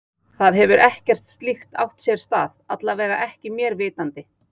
Það hefur ekkert slíkt átt sér stað, alla vega ekki mér vitandi.